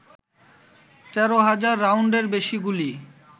১৩ হাজার রাউন্ডের বেশি গুলি